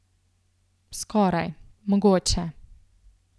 Skoraj, mogoče.